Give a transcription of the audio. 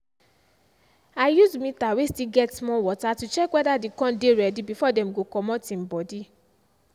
i use meter way still get small water to check whether the corn dey ready before dem go commot em body.